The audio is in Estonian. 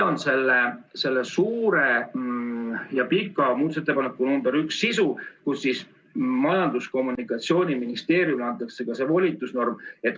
Selle pika muudatusettepaneku nr 1 sisu on, et Majandus- ja Kommunikatsiooniministeeriumile antakse selline volitusnorm.